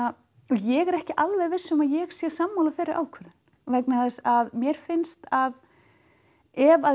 ég er ekki alveg viss um að ég sé sammála þeirri ákvörðun vegna þess að mér finnst að ef